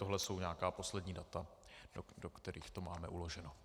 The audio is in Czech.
Tohle jsou nějaká poslední data, do kterých to máme uloženo.